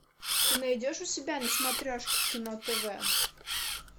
ты найдешь у себя на смотрешке кино тв